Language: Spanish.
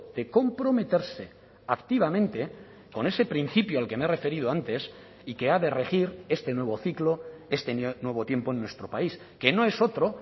de comprometerse activamente con ese principio al que me he referido antes y que ha de regir este nuevo ciclo este nuevo tiempo en nuestro país que no es otro